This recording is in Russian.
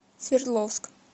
свердловск